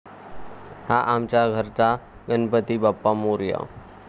हा आमच्या घरचा गणपती बाप्पा मोरया!